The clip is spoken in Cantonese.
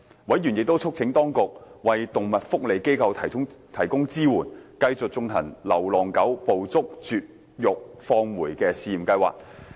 委員亦促請當局為動物福利機構提供支援，繼續推行流浪狗"捕捉、絕育、放回"試驗計劃。